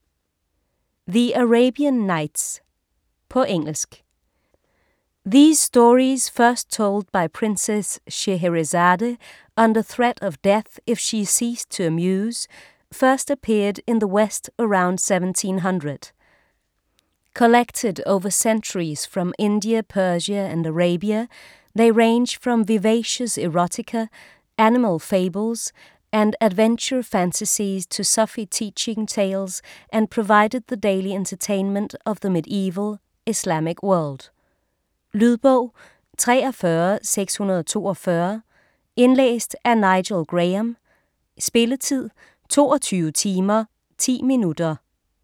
The Arabian nights På engelsk. These stories, first told by Princess Scheherezade under threat of death if she ceased to amuse, first appeared in the west around 1700. Collected over centuries from India, Persia and Arabia, they range from vivacious erotica, animal fables and adventure fantasies, to Sufi teaching tales and provided the daily entertainment of the mediaeval Islamic world. Lydbog 43642 Indlæst af Nigel Graham Spilletid: 22 timer, 10 minutter.